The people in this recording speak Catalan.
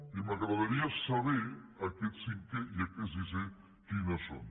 i m’agradaria saber aquest cinquè i aquest sisè quines són